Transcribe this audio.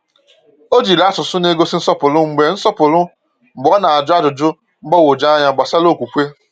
O jiri asụsụ n'egosi nsọpụrụ mgbe nsọpụrụ mgbe ọ na-ajụ ajụjụ mgbagwoju anya gbasara okwukwe.